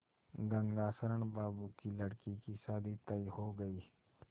गंगाशरण बाबू की लड़की की शादी तय हो गई